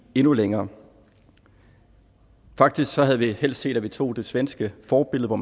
endnu længere faktisk havde vi helst set at man tog det svenske forbillede hvor